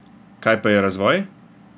Kaj pa je razvoj?